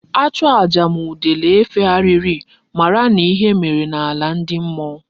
A chụọ aja ma udele efegharighi mara na ihe mere na ala ndi mmuo